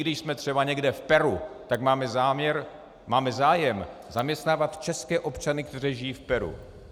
Když jsme třeba někde v Peru, tak máme zájem zaměstnávat české občany, kteří žiji v Peru.